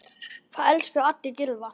Það elskuðu allir Gylfa.